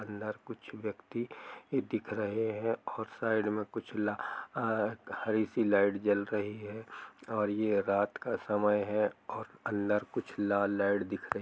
अंदर कुछ व्यक्ति दिख रहे है और साइड में कुछ ला आआ हरी सी लाइट जल रही है और ये रात का समय है और अंदर कुछ लाल लाइट दिख रही --